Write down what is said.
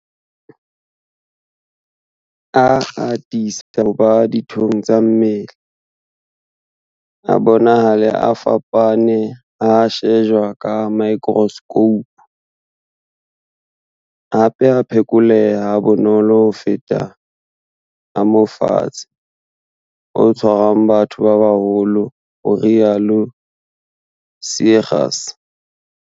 A atisa ho ba dithong tsa mmele, a bonahale a fapane ha a shejwa ka maekroskhoupu, hape a phekoleha ha bonolo ho feta a mofetshe o tshwarang batho ba baholo, ho rialo Seegers.